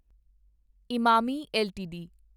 Emami LTD